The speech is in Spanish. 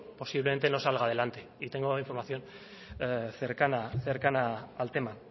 posiblemente no salga adelante y tengo información cercana al tema